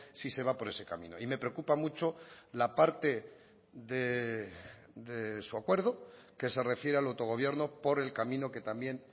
si se va por ese camino y me preocupa mucho la parte de su acuerdo que se refiere al autogobierno por el camino que también